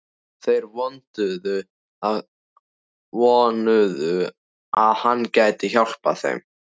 Þeir vonuðu, að hann gæti hjálpað þeim.